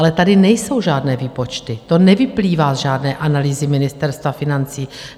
Ale tady nejsou žádné výpočty, to nevyplývá z žádné analýzy Ministerstva financí.